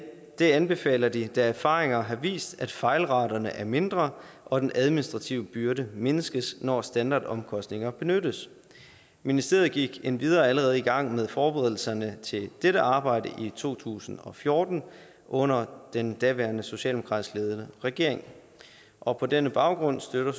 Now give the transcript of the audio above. det anbefaler de da erfaringer har vist at fejlraterne er mindre og den administrative byrde mindskes når standardomkostninger benyttes ministeriet gik endvidere allerede i gang med forberedelserne til dette arbejde i to tusind og fjorten under den daværende socialdemokratisk ledede regering og på denne baggrund støtter